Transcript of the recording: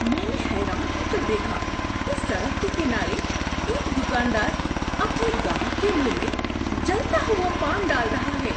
میں نے حیران ہو کر دیکھا کہ سڑک کے کنارے ایک دکاندار اپنے گاہک کے منہ میں جلتا ہوا پان ڈال رہا ہے۔